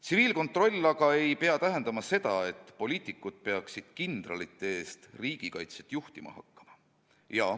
Tsiviilkontroll aga ei pea tähendama seda, et poliitikud peaksid kindralite eest riigikaitset juhtima hakkama.